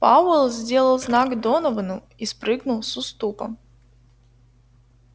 пауэлл сделал знак доновану и спрыгнул с уступа